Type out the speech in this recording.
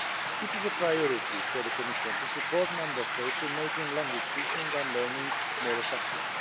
It is a priority for the Commission to support Member States in making language teaching and learning more effective.